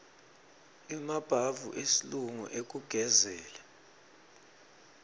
emabhavu esilungu ekugezela